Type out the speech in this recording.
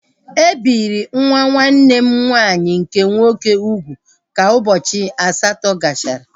E biri nwa nwanne m nwaanyị nke nwoke ugwu ka ụbọchị asatọ gachara